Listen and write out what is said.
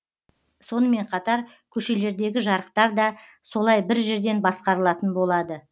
сонымен қатар көшелердегі жарықтар да солай бір жерден басқарылатын болады